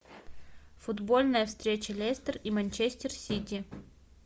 футбольная встреча лестер и манчестер сити